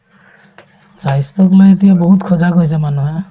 স্বাস্থ্যক লৈ এতিয়া বহুত সজাগ হৈছে মানুহে